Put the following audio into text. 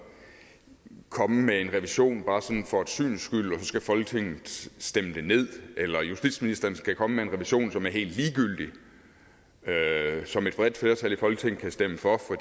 komme med en revision bare for et syns skyld og skal folketinget stemme det nederst eller justitsministeren skal komme med en revision som er helt ligegyldig som et bredt flertal i folketinget kan stemme for